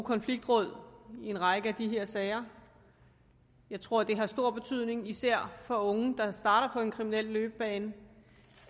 konfliktråd i en række af de her sager jeg tror at det har stor betydning især for unge der starter på en kriminel løbebane